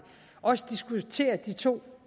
også diskutere de to